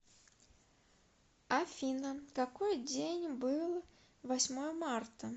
афина какой день был восьмое марта